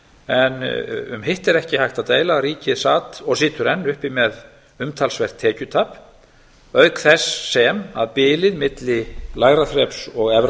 en um hitt er ekki hægt að deila að ríkið sat og situr enn uppi með umtalsvert tekjutap auk þess sem bilið milli lægra þreps og efra